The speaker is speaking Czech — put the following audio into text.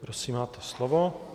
Prosím, máte slovo.